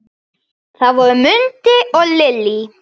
Þau voru Mundi og Lillý.